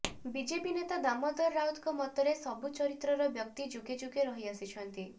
BJP ନେତା ଦାମୋଦର ରାଉତଙ୍କ ମତରେ ସବୁ ଚରିତ୍ରର ବ୍ୟକ୍ତି ଯୁଗେ ଯୁଗେ ରହିଆସିଛନ୍ତି